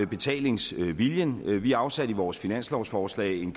betalingsviljen vi afsatte i vores finanslovsforslag